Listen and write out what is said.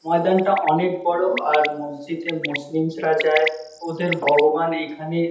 ময়দানটা অনেক বড়ো আর মসজিদে মুসলিমসরা যায় ওদের ভগবান এইখানে--